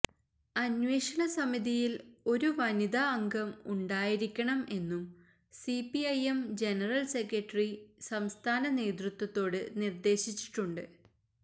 അന്വേഷണ സമിതിയില് ഒരു വനിത അംഗം ഉണ്ടായിരിക്കണം എന്നും സിപിഐഎം ജനറല് സെക്രട്ടറി സംസ്ഥാന നേതൃത്വത്തോട് നിര്ദ്ദേശിച്ചിട്ടുണ്ട്